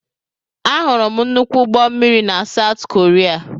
Ahụrụ m nnukwu ụgbọ mmiri na South Korea.